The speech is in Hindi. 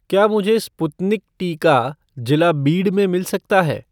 क्या मुझे स्पुतनिक टीका जिला बीड में मिल सकता है?